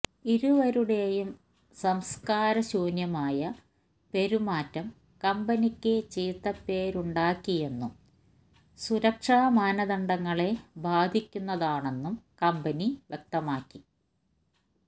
ഇരുവരുടെയും സംസ്കാര ശൂന്യമായ പെരുമാറ്റം കമ്പനിക്ക് ചീത്തപ്പേരുണ്ടാക്കിയെന്നും സുരക്ഷാ മാനദണ്ഡങ്ങളെ ബാധിക്കുന്നതാണെന്നും കമ്പനി വ്യക്തമാക്കി